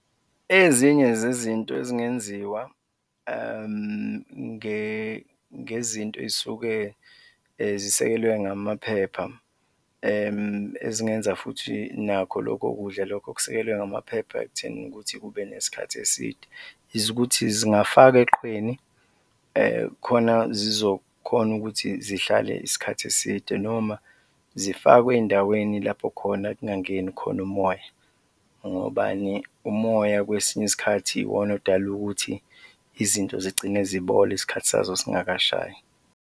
Ezinye zezinto ezingenziwa ngezinto ey'suke zisekelwe ngamaphepha ezingenza futhi nakho lokho kudla lokho okusekelwe ngamaphepha ekuthenini ukuthi kube nesikhathi eside is ukuthi zingafakwa eqhweni, khona zizokhona ukuthi zihlale isikhathi eside noma zifakwe ey'ndaweni lapho khona kungangeni khona umoya, ngobani? Umoya kwesinye isikhathi yiwona odala ukuthi izinto zigcine zibola isikhathi sazo singakashayi.